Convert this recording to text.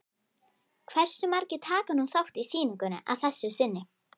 Hversu margir taka nú þátt í sýningunni að þessu sinni?